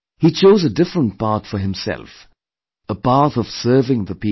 He chose a different path for himself a path of serving the people